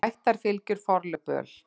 Ættarfylgjur, forlög, böl.